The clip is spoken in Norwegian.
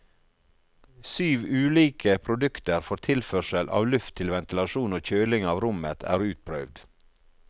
Syv ulike produkter for tilførsel av luft til ventilasjon og kjøling av rommet er utprøvd.